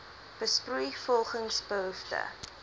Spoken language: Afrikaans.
besproei volgens behoefte